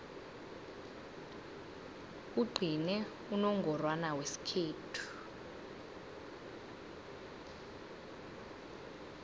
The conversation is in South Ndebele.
kugcine unongorwana wesikhethu